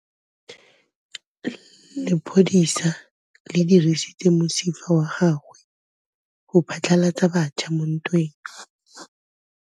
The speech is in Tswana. Lepodisa le dirisitse mosifa wa gagwe go phatlalatsa batšha mo ntweng.